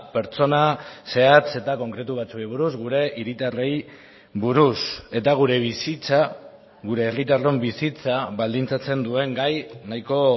pertsona zehatz eta konkretu batzuei buruz gure hiritarrei buruz eta gure bizitza gure herritarron bizitza baldintzatzen duen gai nahiko